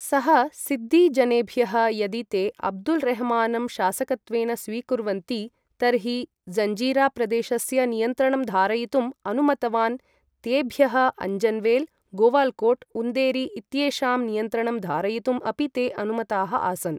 सः, सिद्दी जनेभ्यः यदि ते अब्दुल् रेह्मानं शासकत्वेन स्वीकुर्वन्ति तर्हि जञ्जिरा प्रदेशस्य नियन्त्रणं धारयितुं अनुमतवान् तेभ्यः अञ्जन्वेल्, गोवाल्कोट्, उन्देरी इत्येषां नियन्त्रणं धारयितुम् अपि ते अनुमताः आसन्।